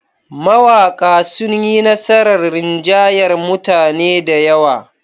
Mawaƙa sun yi nasarar rinjayar mutane da yawa.